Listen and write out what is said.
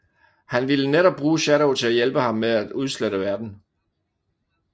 Han ville netop bruge Shadow til at hjælpe ham med at udslette verden